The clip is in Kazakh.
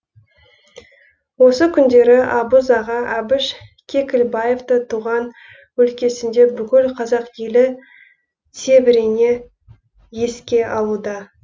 осы күндері абыз аға әбіш кекілбаевты туған өлкесінде бүкіл қазақ елі тебірене еске алуда